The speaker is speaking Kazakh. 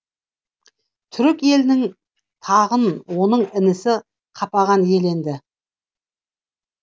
түрік елінің тағын оның інісі қапаған иеленеді